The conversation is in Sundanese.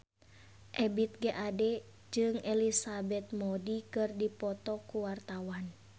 Ebith G. Ade jeung Elizabeth Moody keur dipoto ku wartawan